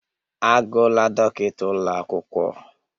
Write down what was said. Agụla dọkịta ụlọ akwụkwọ